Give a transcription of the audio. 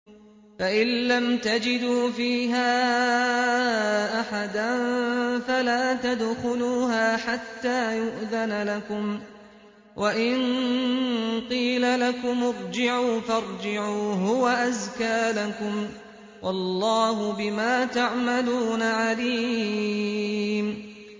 فَإِن لَّمْ تَجِدُوا فِيهَا أَحَدًا فَلَا تَدْخُلُوهَا حَتَّىٰ يُؤْذَنَ لَكُمْ ۖ وَإِن قِيلَ لَكُمُ ارْجِعُوا فَارْجِعُوا ۖ هُوَ أَزْكَىٰ لَكُمْ ۚ وَاللَّهُ بِمَا تَعْمَلُونَ عَلِيمٌ